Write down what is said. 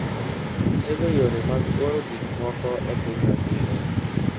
Otego yore mag oro gik moko e piny mangima.